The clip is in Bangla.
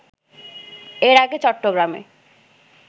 এর আগে চট্টগ্রামে